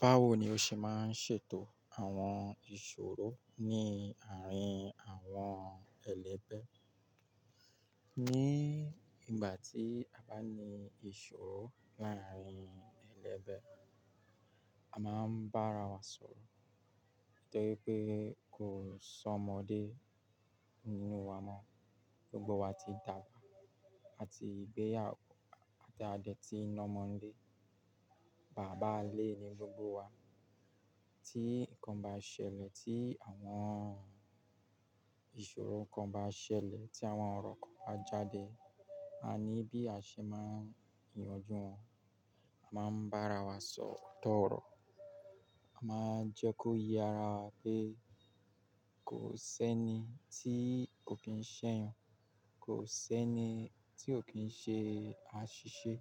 Báwo ni o ṣe máa ń ṣètò àwọn ìṣòro ní àárín àwọn ẹlẹ́bẹ́? Ni ìgbà tí a bá ní ìṣòro láàárín ẹlẹ́gbẹ́, a máa ń bá ara wa sọ̀rọ̀. Torí pé kò sọ́mọdé nínú wa mọ́. Gbogbo wa ti dàbà àti gbéyàwó àti a dé tí ń lọmọ nlé. Bàbá ilè ni gbogbo wa. Tí nǹkan bá ṣẹlẹ̀, tí àwọn ìṣòro nǹkan bá ṣẹlẹ̀, tí àwọn ọ̀rọ̀ kan bá jáde, a ní bí àṣẹ máa ń yanjú wọn. A máa ń báara wa sọ̀ otọ oro. A máa ń jẹ́ kó yé ara wa pé kò sẹ́ni tí kò kín ṣẹ̀yàn, kò sẹ́ni tí kò kín ṣe àṣìṣe,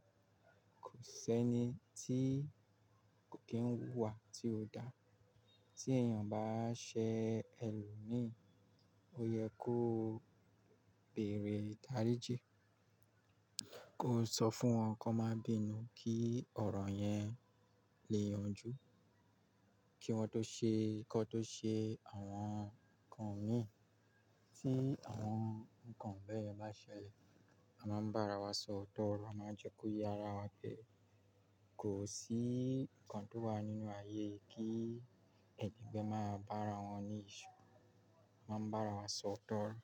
kò sẹ́ni tí kò kín wúwa tí ò dá. Tí èèyàn bá ṣẹ èlòmíì, ó yẹ kó bèèrè daríji, kó sọ fún wọn kón má bínú kí ọ̀rọ̀ yẹn lè yanjú. Kí wọn tó ṣe kọ́ tó ṣe àwọn nǹkan míì tí àwọn nǹkan bẹ́ẹ̀ bá ṣẹlẹ̀, a máa ń bá ara wa sọ̀rọ̀ tọ́rọ. A máa ń jẹ́ kó yé ara wa pé kò sí nǹkan tó wà nínú ayé yìí kí ẹni pé máa bá ara wọn ní ìṣòro. A máa ń bá ara wa sọ̀ otọ́ orọ.